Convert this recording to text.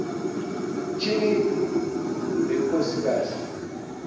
tyhini le nkosikazi